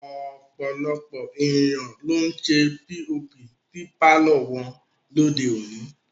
Ọ̀pọ̀lọpọ̀ ènìyàn ló ń ṣe POP sí pàlọ́ wọn lóde òní